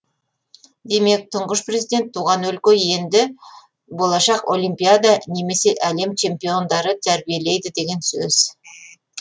демек тұңғыш президент туған өлке енді болашақ олимпиада немесе әлем чемпиондарын тәрбиелейді деген сөз